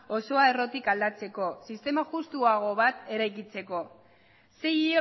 osoa errotik aldatzeko sistema justuago bat eraikitzeko sei